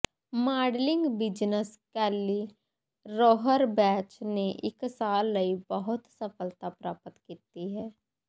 modelling business Kelly Rohrbach ਨੇ ਇੱਕ ਸਾਲ ਲਈ ਬਹੁਤ ਸਫਲਤਾ ਪ੍ਰਾਪਤ ਕੀਤੀ ਹੈ